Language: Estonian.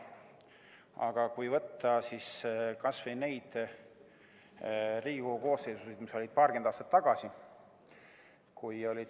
Aga mõtleme kas või nendele Riigikogu koosseisudele, mis olid paarkümmend aastat tagasi.